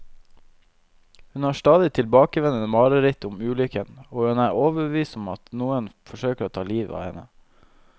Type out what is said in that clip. Hun har stadig tilbakevendende mareritt om ulykken, og hun er overbevist om at noen forsøker å ta livet av henne.